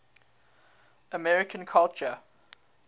american culture